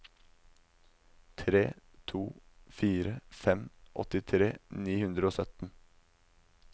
tre to fire fem åttitre ni hundre og sytten